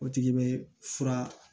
O tigi bɛ fura